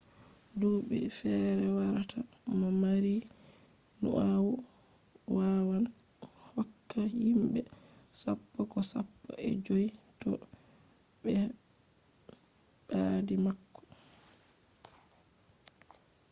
duɓi fere warata mo mari nyau wawan hokka himɓe sappo ko sappo e joyi to ɓe ɓadi mako